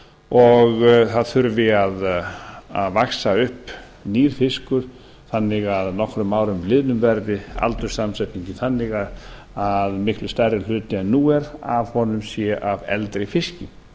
og það þurfi að vaxa upp nýr fiskur þannig að að nokkrum árum liðnum verði aldurssamsetningin þannig að miklu stærri hluti en nú er af honum sé af eldri fiski í